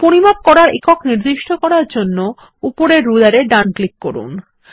পরিমাপ করার একক নির্দিষ্ট করার জন্য উপরের রুলার এ ডান ক্লিক করুন